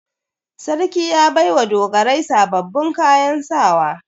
Sarki ya bai wa dogarai sababbin kayan sawa.